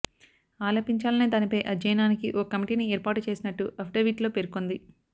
ఆలపించాలనే దానిపై అధ్యయనానికి ఓ కమిటీని ఏర్పాటు చేసినట్టు అఫిడవిట్లో పేర్కొంది